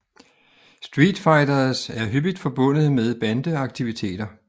Street fighters er hyppigt forbundet med bande aktiviteter